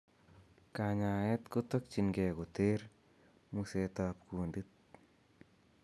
Kanyaeet kotokying'ee koter museet ab kundit